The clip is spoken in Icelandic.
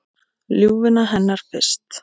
Ljúfuna hennar fyrst.